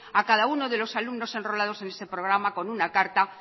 a cada uno de los alumnos enrolados en ese programa con una carta